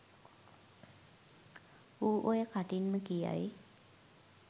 ඌ ඔය කටින්ම කියයි